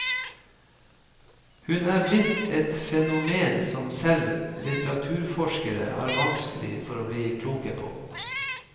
Hun er blitt et fenomen som selv litteraturforskere har vanskelig for å bli kloke på.